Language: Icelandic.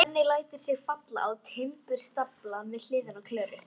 Svenni lætur sig falla á timburstaflann við hliðina á Klöru.